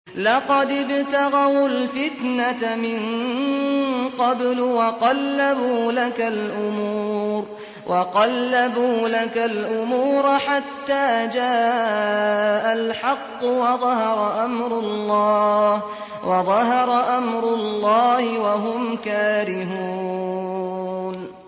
لَقَدِ ابْتَغَوُا الْفِتْنَةَ مِن قَبْلُ وَقَلَّبُوا لَكَ الْأُمُورَ حَتَّىٰ جَاءَ الْحَقُّ وَظَهَرَ أَمْرُ اللَّهِ وَهُمْ كَارِهُونَ